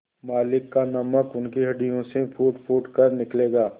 मालिक का नमक उनकी हड्डियों से फूटफूट कर निकलेगा